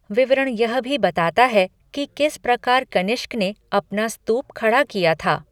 विवरण यह भी बताता है कि किस प्रकार कनिष्क ने अपना स्तूप खड़ा किया था।